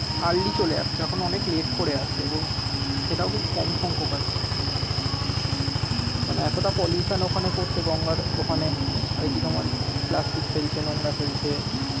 early চলে আসত এখন অনেক late করে আসে এবং সেটাও খুব কম সংখ্যক আসছে মানে এতটা pollution ওখানে করছে গঙ্গার ওখানে আর কি তোমার প্লাস্টিক ফেলছে নোংরা ফেলছে।